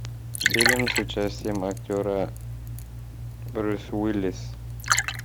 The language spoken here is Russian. фильм с участием актера брюс уиллис